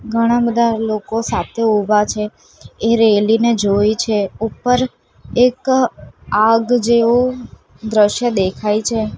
ઘણા બધા લોકો સાથે ઊભા છે એ રેલી ને જોઈ છે ઉપર એક આગ જેવું દ્રશ્ય દેખાય છે.